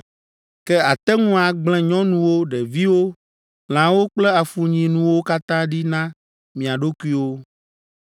ke àte ŋu agblẽ nyɔnuwo, ɖeviwo, lãwo kple afunyinuwo katã ɖi na mia ɖokuiwo.